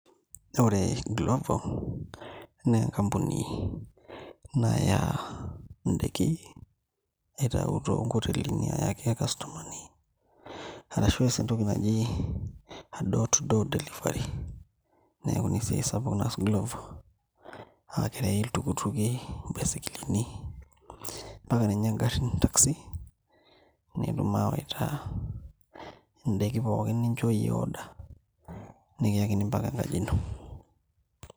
Ore glovo na enkampini naya ndakin aitau tonkotelini ayaki irkastomani arashu eas entoki naji door to door delivery neaku esiai sapuk naas glovo akerewi mbaisikilini irpikipiki mbaka ngarin taci netum awaita ndakin pookin naata order nikiyakini mbaka enkaji ino